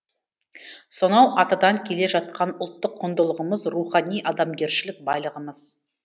сонау атадан келе жатқан ұлттық құндылығымыз рухани адамгершілік байлығымыз